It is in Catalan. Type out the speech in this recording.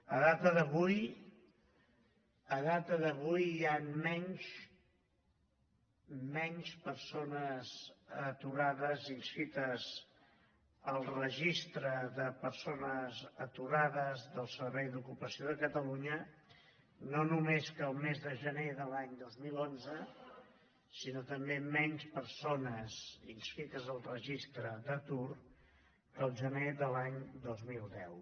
a data d’avui a data d’avui hi han menys menys persones aturades inscrites al registre de persones aturades del servei d’ocupació de catalunya no només que el mes de gener de l’any dos mil onze sinó també menys persones inscrites al registre d’atur que el gener de l’any dos mil deu